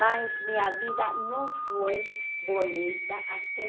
Mas minha vida não foi bonita até